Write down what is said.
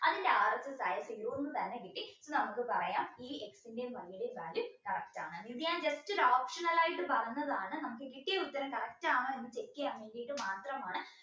അതിൻറെ ആദ്യത്തെ ഒന്ന് തന്നെ കിട്ടി നമുക്ക് പറയാം ഈ x ന്റെയും y ന്റെയും value correct ആണെന്ന് ഇത് ഞാൻ just ഒരു optional ആയിട്ട് പറഞ്ഞതാണ് നമുക്ക് കിട്ടിയ ഉത്തരം correct ആണോ എന്ന് check ചെയ്യാൻ വേണ്ടീട്ട് മാത്രമാണ്